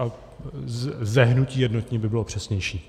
Ze hnutí Jednotní by bylo přesnější.